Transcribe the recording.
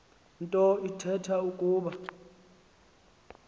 nto ithetha ukuba